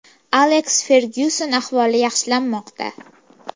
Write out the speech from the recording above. Aleks Fergyuson ahvoli yaxshilanmoqda.